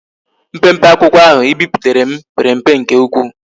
Mpempe akwukwo ndi ahu i biputara m pere mpe nke ukwu